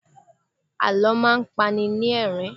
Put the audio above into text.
Àlọ́ máa ń pani lẹ́rìn-ín.